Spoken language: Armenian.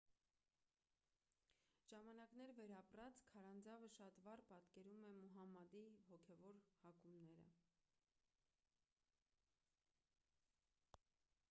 ժամանակներ վերապրած քարանձավը շատ վառ պատկերում է մուհամմադի հոգևոր հակումները